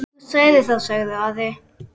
Þú sagðir það, sagði Ari.